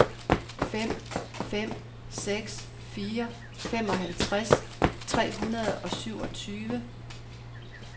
fem fem seks fire femoghalvtreds tre hundrede og syvogtyve